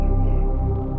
Yoxdur, yoxdur.